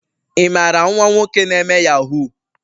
imara nwa nwoke na eme yahoo?